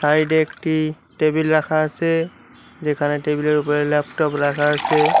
Side এ একটি table রাখা আছে যেখানে টেবিল এর উপরে ল্যাপটপ রাখা আছে।